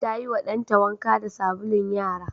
Ta yiwa ɗanta wanka da sabulun yara.